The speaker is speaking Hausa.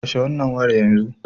Kashe wannan wayar yanzu!